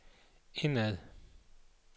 indad